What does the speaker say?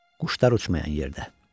Quşlar uçmayan yerdə.